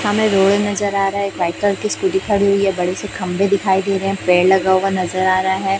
हमे रोड नजर आ रहा है। एक व्हाईट कॉलर की स्कूटी खड़ी हुई है। बड़े से खंभे दिखाई दे रहे हैं। पेड़ लगा हुआ नजर आ रहा है।